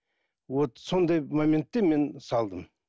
вот сондай моментте мен салдым